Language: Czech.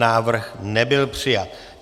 Návrh nebyl přijat.